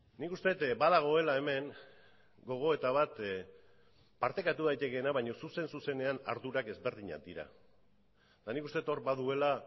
nik uste dut badagoela hemen gogoeta bat partekatu daitekeena baina zuzen zuzenean ardurak ezberdinak dira eta nik uste dut hor baduela